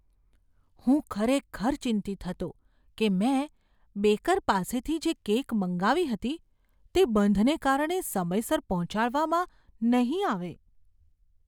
હું ખરેખર ચિંતિત હતો કે મેં બેકર પાસેથી જે કેક મંગાવી હતી તે બંધને કારણે સમયસર પહોંચાડવામાં નહીં આવે.